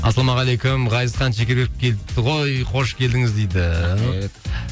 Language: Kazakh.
ассалаумағалейкум ғазизхан шекербеков келіпті ғой қош келдіңіз дейді рахмет